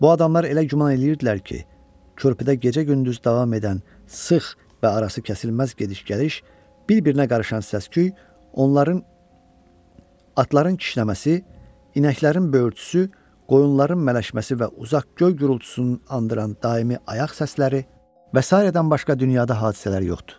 Bu adamlar elə güman eləyirdilər ki, körpüdə gecə-gündüz davam edən sıx və arası kəsilməz gediş-gəliş, bir-birinə qarışan səsküy, onların atların kişnəməsi, inəklərin böyürtüsü, qoyunların mələşməsi və uzaq göy gurultusunu andıran daimi ayaq səsləri və sairədən başqa dünyada hadisələr yoxdur.